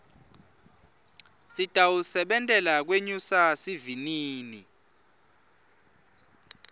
sitawusebentela kwenyusa sivinini